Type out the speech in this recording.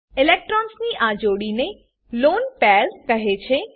ઈલેક્ટ્રોન્સની આ જોડી ને લોને પેર લોન પેર કહે છે